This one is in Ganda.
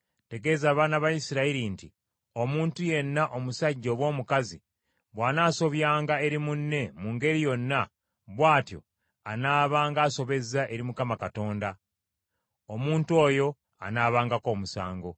“Tegeeza abaana ba Isirayiri nti, ‘Omuntu yenna omusajja oba omukazi bw’anaasobyanga eri munne mu ngeri yonna, bw’atyo anaabanga asobezza eri Mukama Katonda, omuntu oyo anaabangako omusango,